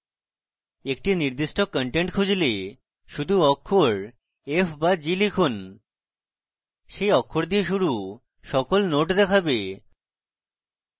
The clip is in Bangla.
একটি নির্দিষ্ট content খুঁজলে শুধু অক্ষর f বা g লিখুন সেই অক্ষর দিয়ে শুরু সকল নোড দেখাবে